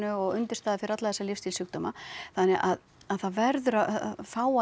og undirstaða fyrir alla þessa lífsstílssjúkdóma þannig að það verður að fá að